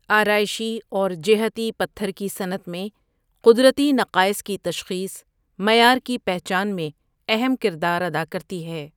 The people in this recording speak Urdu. آرائشی اور جہتی پتھر کی صنعت میں قدرتی نقائص کی تشخیص معیار کی پہچان میں اہم کردار ادا کرتی ہے۔